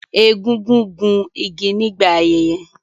Egungun gún igi nígbà ayẹyẹ